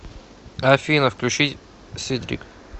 афина включить сидрик